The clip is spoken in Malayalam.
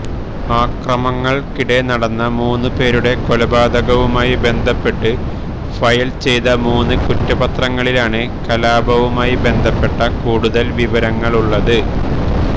അക്രമങ്ങൾക്കിടെ നടന്ന മൂന്നു പേരുടെ കൊലപാതകവുമായി ബന്ധപ്പെട്ട് ഫയൽ ചെയ്ത മൂന്ന് കുറ്റപത്രങ്ങളിലാണ് കലാപവുമായി ബന്ധപ്പെട്ട കൂടുതൽ വിവരങ്ങളുള്ളത്